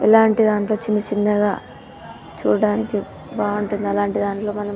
ఇలాంటి దాంట్లో చిన్న చిన్నగా చూడ్డానికి బాగుంటుంది అలాంటి దాంట్లో మనం --